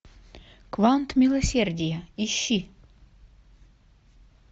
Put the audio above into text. квант милосердия ищи